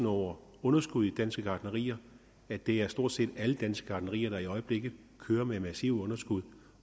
over underskud i danske gartnerier at det er stort set alle danske gartnerier der i øjeblikket kører med massive underskud